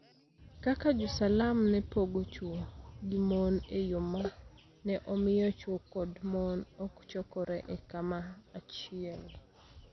kaka Jo Salam ne pogo chwo gi mon e yo ma ne omiyo chwo kod mon ok chokore e kama achiel.